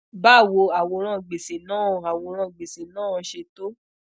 bawo aworan gbese naa aworan gbese naa se to